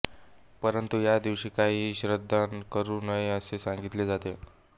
परंतु ह्या दिवशी कधीही श्राद्ध करू नये असे सांगितले जाते